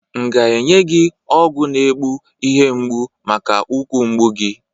M ga-enye gi ọgwụ na egbu ihe mgbụ maka ukwu mgbụ gị?